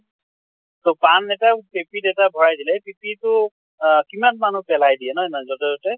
তʼ পান এতা পিপি এটাত ভৰাই দিলে পিপি টো আহ কিমান মানুহ পেলাই দিয়ে ন ইমান যʼতে তʼতে?